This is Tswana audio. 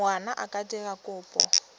ngwana a ka dira kopo